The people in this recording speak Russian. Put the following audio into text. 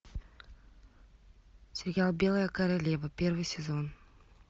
сериал белая королева первый сезон